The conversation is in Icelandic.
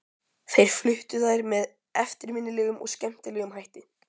Þeir fluttu þær með eftirminnilegum og skemmtilegum hætti.